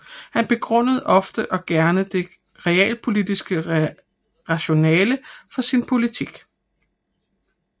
Han begrundede ofte og gerne det realpolitiske rationale for sin politik